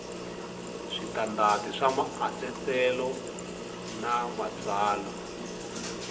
switandati swa maasesele na matsalwa